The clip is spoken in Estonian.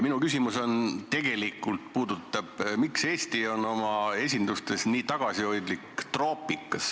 Minu küsimus puudutab aga seda, miks on Eesti esindatus troopikas nii tagasihoidlik.